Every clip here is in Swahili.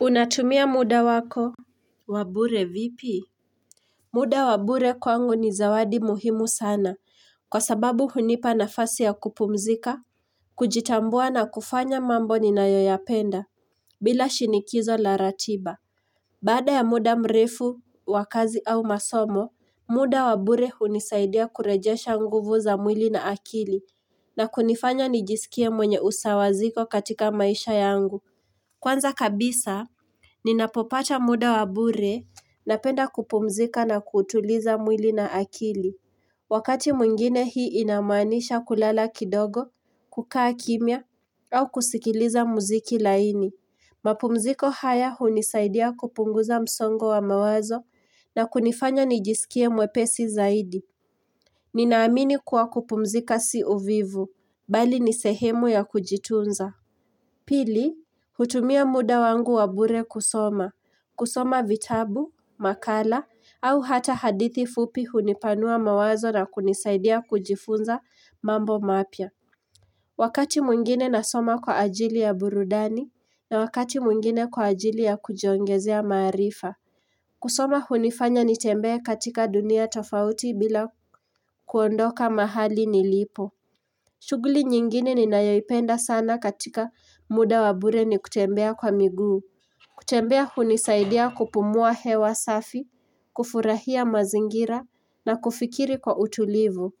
Unatumia muda wako wa bure vipi? Muda wa bure kwangu ni zawadi muhimu sana kwa sababu hunipa nafasi ya kupumzika, kujitambua na kufanya mambo ninayoyapenda bila shinikizo la ratiba Baada ya muda mrefu wa kazi au masomo, muda wa bure hunisaidia kurejesha nguvu za mwili na akili na kunifanya nijisikie mwenye usawaziko katika maisha yangu. Kwanza kabisa Ninapopata muda wa bure napenda kupumzika na kutuliza mwili na akili. Wakati mwingine hii inamaanisha kulala kidogo, kukaa kimya, au kusikiliza muziki laini. Mapumziko haya hunisaidia kupunguza msongo wa mawazo na kunifanya nijisikie mwepesi zaidi. Ninaamini kuwa kupumzika si uvivu, bali ni sehemu ya kujitunza. Pili, hutumia muda wangu wabure kusoma. Kusoma vitabu, makala au hata hadithi fupi hunipanua mawazo na kunisaidia kujifunza mambo mapya. Wakati mwingine nasoma kwa ajili ya burudani na wakati mwingine kwa ajili ya kujiongezea maarifa. Kusoma hunifanya nitembee katika dunia tofauti bila kuondoka mahali nilipo. Shughuli nyingine ninayoipenda sana katika muda wa bure ni kutembea kwa miguu. Kutembea hunisaidia kupumua hewa safi, kufurahia mazingira na kufikiri kwa utulivu.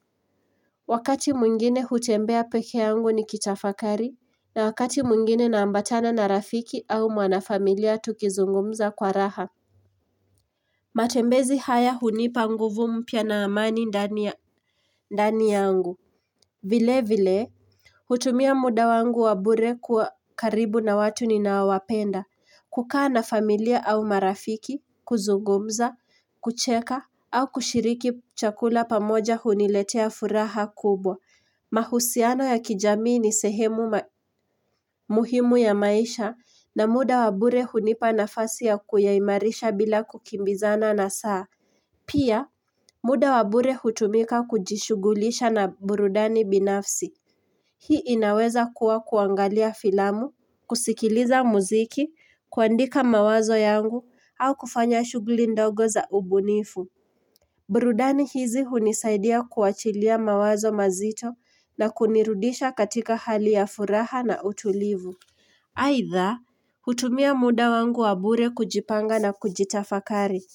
Wakati mwingine hutembea peke yangu nikitafakari na wakati mwingine naambatana na rafiki au mwanafamilia tukizungumza kwa raha. Matembezi haya hunipa nguvu mpya na amani ndani yangu. Vile vile, hutumia muda wangu wa bure kuwa karibu na watu ninaowapenda. Kukaa na familia au marafiki, kuzungumza, kucheka au kushiriki chakula pamoja huniletea furaha kubwa. Mahusiano ya kijamii ni sehemu muhimu ya maisha na muda wa bure hunipa nafasi ya kuyaimarisha bila kukimbizana na saa. Pia, muda wabure hutumika kujishugulisha na burudani binafsi. Hii inaweza kuwa kuangalia filamu, kusikiliza muziki, kuandika mawazo yangu au kufanya shughuli ndogo za ubunifu. Burudani hizi hunisaidia kuachilia mawazo mazito na kunirudisha katika hali ya furaha na utulivu. Aidha, hutumia muda wangu wa bure kujipanga na kujitafakari.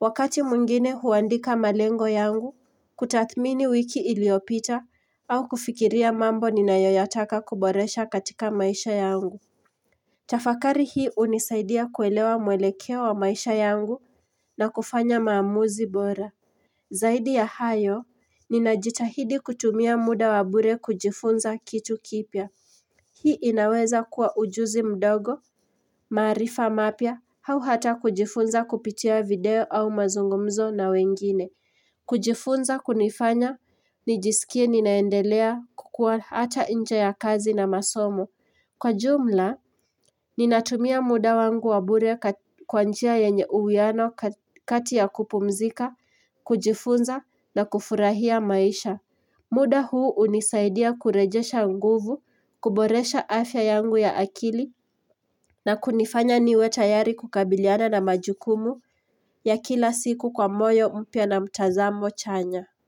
Wakati mwingine huandika malengo yangu, kutathmini wiki iliyopita au kufikiria mambo ninayoyataka kuboresha katika maisha yangu. Tafakari hii hunisaidia kuelewa mwelekeo wa maisha yangu na kufanya maamuzi bora. Zaidi ya hayo, ninajitahidi kutumia muda wa bure kujifunza kitu kipya. Hii inaweza kuwa ujuzi mdogo, maarifa mapya, au hata kujifunza kupitia video au mazungumzo na wengine. Kujifunza kunifanya, nijisikie ninaendelea kukua hata nje ya kazi na masomo. Kwa jumla, ninatumia muda wangu wa bure kwa njia yenye uwiano kati ya kupumzika, kujifunza na kufurahia maisha. Muda huu hunisaidia kurejesha nguvu, kuboresha afya yangu ya akili na kunifanya niwe tayari kukabiliana na majukumu ya kila siku kwa moyo mpya na mtazamo chanya.